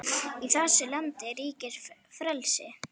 Í þessu landi ríkir frelsi!